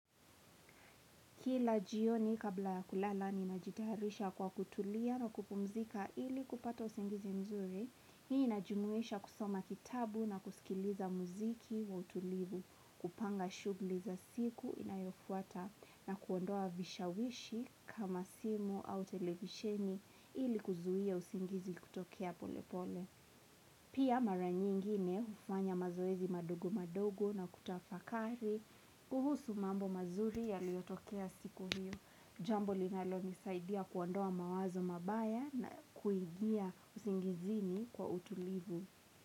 Kila jioni kabla kulala ninajitayarisha kwa kutulia na kupumzika ili kupata usingizi mzuri, hii inajumuisha kusoma kitabu na kusikiliza muziki wa utulivu, kupanga shughli za siku inayofuata na kuondoa vishawishi kama simu au televisheni ili kuzuia usingizi kutokea pole pole. Pia mara nyingine hufanya mazoezi madogo madogo na kutafakari kuhusu mambo mazuri yaliyotokea siku hiyo. Jambo linalo nisaidia kuondoa mawazo mabaya na kuingia usingizini kwa utulivu.